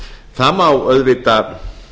það má auðvitað